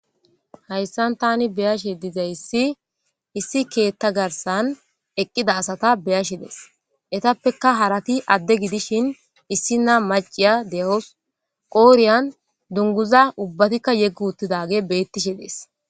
Hayissani tani beyashe dizayisi issi ketha harisani eqidda assata beyashe dayisi etapeka uaratika ade gidishin issina maciya deyawus qodhiyan ubaatika dunguza yegi utidageyi betishe desi